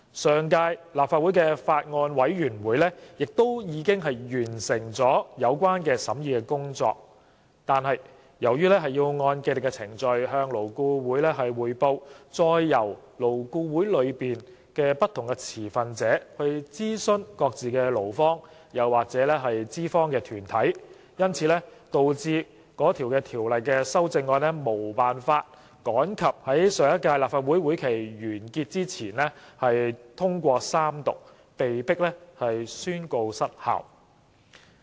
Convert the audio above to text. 上屆立法會的法案委員會亦已完成有關的審議工作，但由於要按既定程序向勞顧會匯報，再由勞顧會內不同持份者諮商各自的勞方或資方團體，因而導致《2016年條例草案》無法趕及於上屆立法會會期完結前通過三讀，被迫宣告失效。